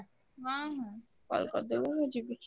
ହଁ ହଁ call କରିଦବୁ ମୁଁ ଯିବି।